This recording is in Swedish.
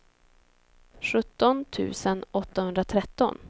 sjutton tusen åttahundratretton